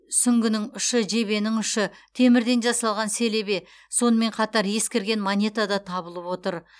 сүңгінің ұшы жебенің ұшы темірден жасалған селебе сонымен қатар ескірген монета да табылып отыр